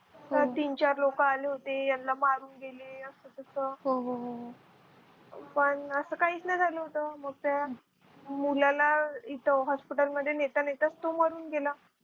तर तीन चार लोक आले होते यांना मारून गेले असं तसं पण असं काहीच नाही झालं होतं मग त्या मुलाला तिथं hospital मध्ये नेता नेताच तो मरून गेला